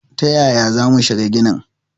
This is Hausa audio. Ta yaya za mu shiga ginin?